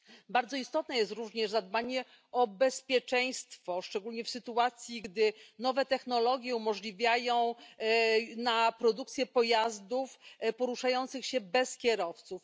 Bardzo istotne jest również zadbanie o bezpieczeństwo, szczególnie w sytuacji, gdy nowe technologie umożliwiają produkcję pojazdów poruszających się bez kierowców.